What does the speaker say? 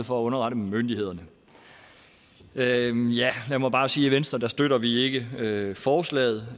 for at underrette myndighederne lad mig bare sige at i venstre støtter vi ikke forslaget